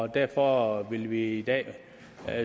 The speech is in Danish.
derfor vil vi i dag